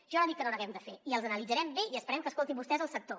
jo no dic que no n’haguem de fer i els analitzarem bé i esperem que escoltin vostès el sector